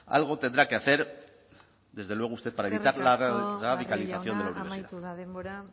algo tendrá que hacer desde luego usted para evitar la radicalización de la universidad eskerrik asko barrio jauna amaitu da denbora